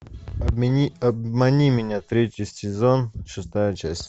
обмани меня третий сезон шестая часть